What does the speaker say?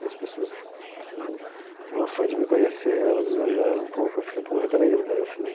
E as pessoas, assim, no afã de me conhecer, elas exageraram um pouco, eu fiquei um pouco retraído, daí eu fiz...